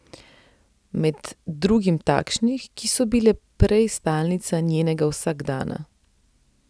Med drugim takšnih, ki so bile prej stalnica njenega vsakdana.